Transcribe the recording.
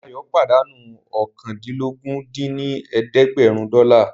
Dayọ̀ pàdánù oókàndínlógún dín ní ẹ̀ẹ́dẹ́gbẹ́rún dọ́là